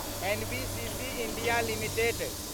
NBCC India limited